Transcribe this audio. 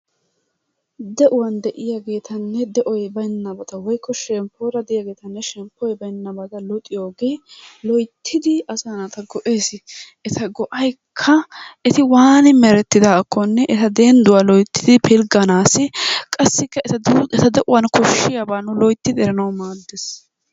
De'uwani de'iyabattanne de'uwn baynabattaa woyko shempoy de'iyobattanne shempoy baynaabattaa luxxiyogee loyttidi asaa natta go'ees. ettaa go'aykkaa etti wani merettidakkonne ettaa denduwaa loyttidi filganassi, qassikka ettaa deuwaan koshiyabba nu loyttidi eranawu maddees.